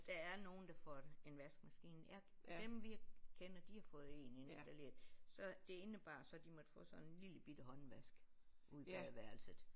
Der er nogen der får en vaskemaskine jeg dem vi kender de har fået en installeret så det indebar så de måtte få sådan en lillebitte håndvask ude i badeværelset